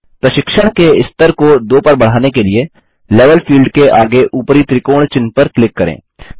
प्रशिक्षण के स्तर को 2 पर बढ़ाने के लिए लेवल फील्ड के आगे ऊपरी त्रिकोण चिह्न पर क्लिक करें